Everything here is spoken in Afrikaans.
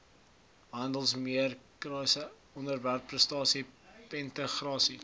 handelsmerkregistrasie ontwerpregistrasie patentregistrasie